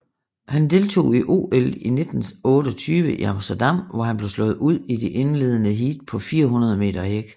Han deltog i OL 1928 i Amsterdam hvor han blev slået ud i de indledende heat på 400 meter hæk